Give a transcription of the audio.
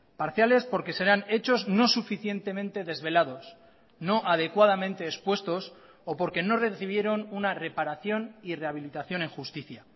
parciales porque serán hechos no suficientemente desvelados no adecuadamente expuestos o porque no recibieron una reparación y rehabilitación en justicia